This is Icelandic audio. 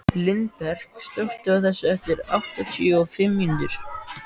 Lindberg, slökktu á þessu eftir áttatíu og fimm mínútur.